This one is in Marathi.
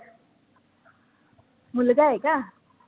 मुलगा आहे का?